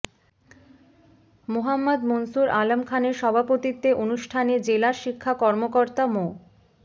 মোহাম্মদ মুনসুর আলম খানের সভাপতিত্বে অনুষ্ঠানে জেলা শিক্ষা কর্মকর্তা মো